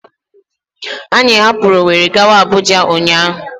Anyị hapụrụ Ọweri gawa Abụja ụnyaahụ.